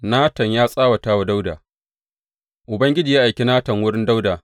Natan ya tsawata wa Dawuda Ubangiji ya aiki Natan wurin Dawuda.